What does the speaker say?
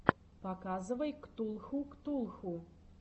показывай ктулху ктулху